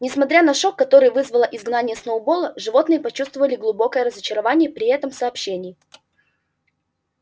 несмотря на шок который вызвало изгнание сноуболла животные почувствовали глубокое разочарование при этом сообщении